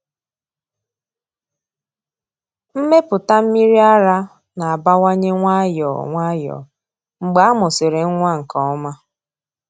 Mmepụta mmiri ara na-abawanye nwayọọ nwayọọ mgbe a mụsịrị nwa nke ọma.